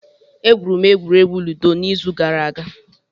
Egwuru m egwuregwu ludo n'izu gara aga.